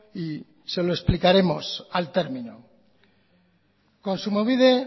y se lo explicaremos al término kontsumobide